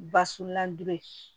Basunna dolo in